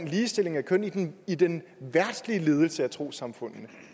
ligestilling af køn i den i den verdslige ledelse af trossamfundene